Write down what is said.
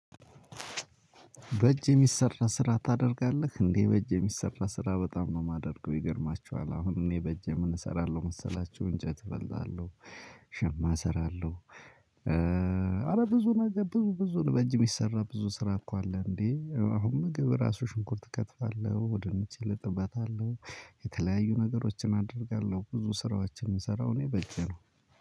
በእጅ የሚሰራ ስራ ታደርጋለህ እንዴ በእጅ የሚሰራ ስራ በጣም ነው የማደርገው ይገርማችኋል አሁን እኔ በእጄ ምን እሰራለሁ መሰላችሁ? እንጨት እፈልጣለሁ ሸማ እሰራለሁ። አለ ብዙ ነገር ብዙ ብዙ በእጅ የሚሰራ ብዙ ስራ እኮ አለ እንዴ አሁን ምግብ ራሱ ሽንኩርት እከትፋለሁ ድንች እልጥበታለሁ። የተለያዩ ነገሮችን አደርጋለሁ ብዙ ስራዎችን የምሰራው እኔ በእጄ ነው።